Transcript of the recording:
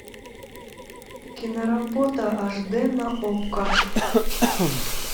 киноработа аш дэ на окко